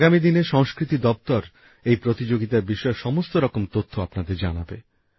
আগামী দিনে সংস্কৃতি দপ্তর এই প্রতিযোগিতার বিষয়ে সমস্ত রকম তথ্য আপনাদের জানাবে